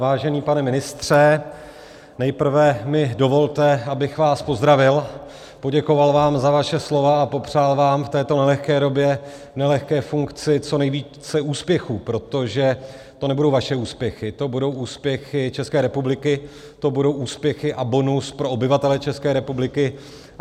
Vážený pane ministře, nejprve mi dovolte, abych vás pozdravil, poděkoval vám za vaše slova a popřál vám v této nelehké době, nelehké funkci co nejvíce úspěchů, protože to nebudou vaše úspěchy, to budou úspěchy České republiky, to budou úspěchy a bonus pro obyvatele České republiky.